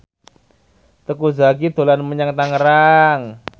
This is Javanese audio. Teuku Zacky dolan menyang Tangerang